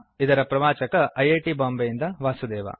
ಇದರ ಪ್ರವಾಚಕ I I T ಬಾಂಬೆಯಿಂದ ವಾಸುದೇವ